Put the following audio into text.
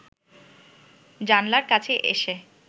জানালার কাছে এসে